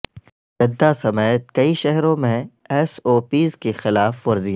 Jeddah سمیت کئی شہروں میں ایس او پیز کی خلاف ورزیاں